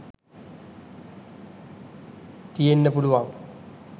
තියෙන්න පුළුවන්.